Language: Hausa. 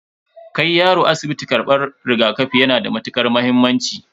Kai yaro asibiti karban rigakafi yana da matukar muhimmanci.